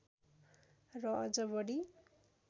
र अझ बढी